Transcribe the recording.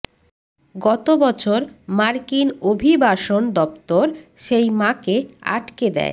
গত বছর মার্কিন অভিবাসন দফতর সেই মাকে আটকে দেয়